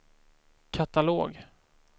katalog